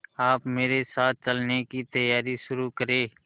आप मेरे साथ चलने की तैयारी शुरू करें